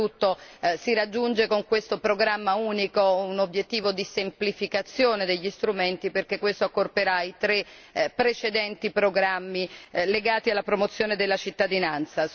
Oltretutto si raggiunge con questo programma unico un obiettivo di semplificazione degli strumenti, perché questo accorperà i tre precedenti programmi legati alla promozione della cittadinanza.